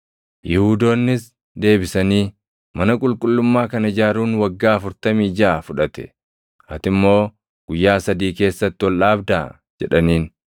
Yihuudoonnis deebisanii, “Mana qulqullummaa kana ijaaruun waggaa afurtamii jaʼa fudhate; ati immoo guyyaa sadii keessatti ol dhaabdaa?” jedhaniin.